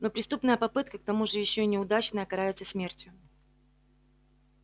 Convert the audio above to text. но преступная попытка к тому же ещё и неудачная карается смертью